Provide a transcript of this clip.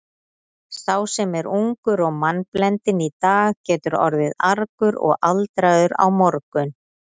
Sá sem er ungur og mannblendinn í dag getur orðið argur og aldraður á morgun.